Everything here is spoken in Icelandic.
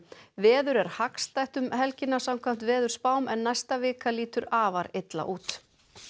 veður er hagstætt um helgina samkvæmt veðurspám en næsta vika lítur afar illa út